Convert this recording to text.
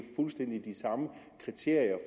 fuldstændig de samme kriterier